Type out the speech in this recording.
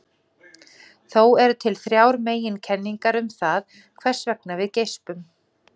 Þó eru til þrjár meginkenningar um það hvers vegna við geispum.